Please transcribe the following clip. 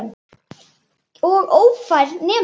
Og ófær nema.